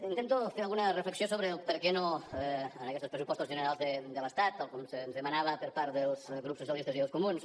intento fer alguna reflexió sobre el perquè no a aquestos pressupostos generals de l’estat tal com se’ns demanava per part dels grups socialistes i dels comuns